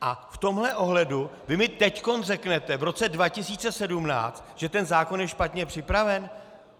A v tomhle ohledu vy mi teď řeknete, v roce 2017, že ten zákon je špatně připraven?